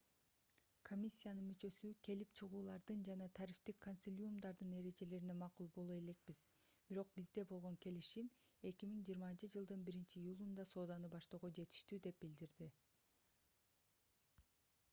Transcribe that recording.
комиссиянын мүчөсү келип чыгуулардын жана тарифтик консилиумдардын эрежелерине макул боло элекпиз бирок бизде болгон келишим 2020-жылдын 1-июлунда сооданы баштоого жетиштүү деп билдирди